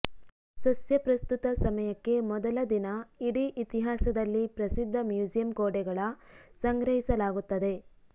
ಸಸ್ಯ ಪ್ರಸ್ತುತ ಸಮಯಕ್ಕೆ ಮೊದಲ ದಿನ ಇಡೀ ಇತಿಹಾಸದಲ್ಲಿ ಪ್ರಸಿದ್ಧ ಮ್ಯೂಸಿಯಂ ಗೋಡೆಗಳ ಸಂಗ್ರಹಿಸಲಾಗುತ್ತದೆ